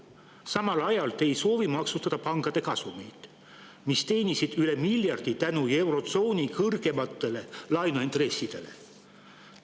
Samal ajal ei soovi te maksustada pankade kasumit, kuigi pangad teenisid seda tänu eurotsooni kõrgematele laenuintressidele üle miljardi.